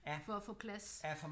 For at få plads